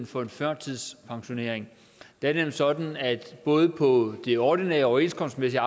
for en førtidspensionering det er nemlig sådan at både på det ordinære overenskomstmæssige